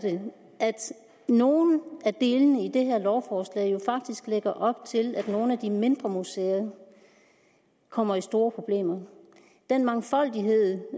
nogle af delene i det her lovforslag jo faktisk lægger op til at nogle af de mindre museer kommer i store problemer den mangfoldighed